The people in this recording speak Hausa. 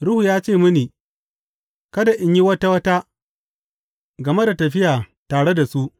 Ruhu ya ce mini kada in yi wata wata game da tafiya tare da su.